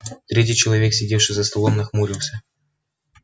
третий человек сидевший за столом нахмурился